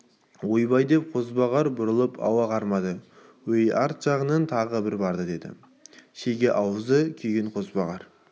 ойбай деп қозбағар бұрылып ауа кармады өй арт жағыңнан тағы барды деді шеге аузы күйген қозбағар